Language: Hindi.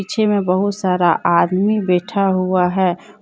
पीछे में बहुत सारा आदमी बैठा हुआ है।